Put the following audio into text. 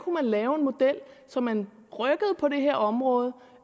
lave en model så man rykkede på det her område